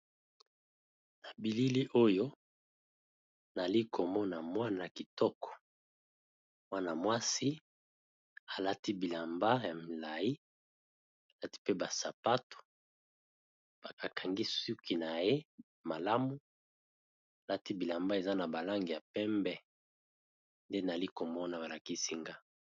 Na bilili oyo nali komona mwana kitoko mwana mwasi alati bilamba ya milayi alati mpe ba sapato ba kangi suki na ye malamu alati bilamba eza na ba langi ya pembe nde nali komona balakisi nga.